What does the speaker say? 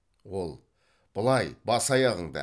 ол былай бас аяғыңды